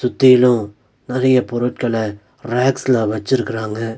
கீழு நெறைய பொருட்கள ரேக்ஸ்ல வச்சிருக்குறாங்க.